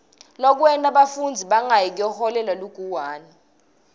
lokwenta bafundzi bangayi kuyoholela liguwane